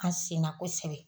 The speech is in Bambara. An senna kosɛbɛ